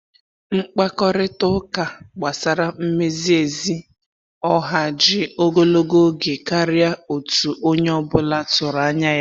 Mkpakorịta ụka gbasara mmezi ezi ọha ji ogologo oge karịa otu onye ọ bụla tụrụ anya ya.